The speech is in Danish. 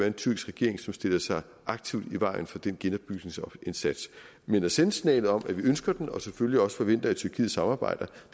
en tyrkisk regering som stiller sig aktivt i vejen for den genopbygningsindsats men at sende signalet om at vi ønsker den og selvfølgelig også forventer at tyrkiet samarbejder